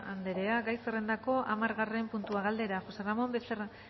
andrea gai zerrendako hamargarren puntua galdera josé ramón